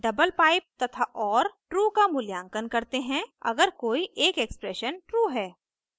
double pipe तथा or true का मूल्यांकन करते हैं अगर कोई एक एक्सप्रेशन ट्रू है